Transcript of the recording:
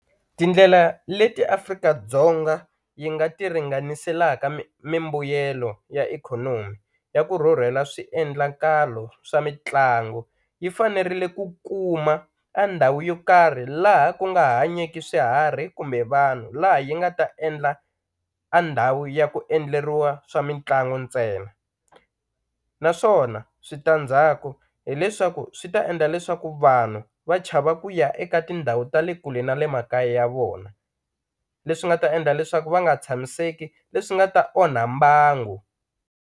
Tindlela leti Afrika-Dzonga yi nga ti ringaniselaka mimbuyelo ya ikhonomi ya ku rhurhela swiendlakalo swa mitlangu yi fanerile ku kuma a ndhawu yo karhi laha ku nga hanyeki swiharhi kumbe vanhu laha yi nga ta endla a ndhawu ya ku endleriwa swa mitlangu ntsena naswona switandzhaku hileswaku swi ta endla leswaku vanhu va chava ku ya eka tindhawu ta le kule na le makaya ya vona leswi nga ta endla leswaku va nga tshamiseki leswi nga ta onha mbangu.